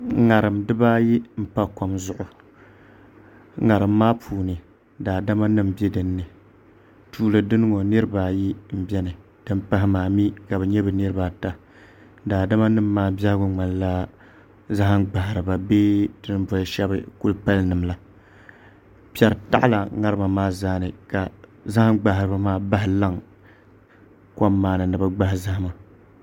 ŋarim dibaayi n pa kom zuɣu ŋarim maa puuni daadama nim bɛ dinni tuuli dini ŋo niraba ayi n biɛni din pahi maa mii ka bi nyɛ bi niraba ata daadama nim maa biɛhagu ŋmanila zaham gbahariba bee ti ni boli shab kuli pali nim la piɛri taɣala ŋarima maa zaa ni ka zaham gbaharibi maa bahi laŋ kom maa ni ni bi gbahi zahama